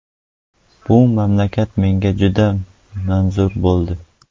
Bu mamlakat menga juda manzur bo‘ldi.